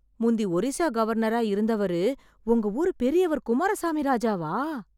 முந்தி ஒரிஸ்ஸா கவர்னரா இருந்தவரு உங்க ஊரு பெரியவர் குமாரசாமி ராஜாவா...!